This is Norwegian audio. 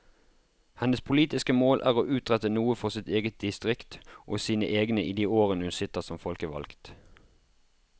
Hennes politiske mål er å utrette noe for sitt eget distrikt og sine egne i de årene hun sitter som folkevalgt.